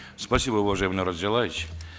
спасибо уважаемый нурлан зайроллаевич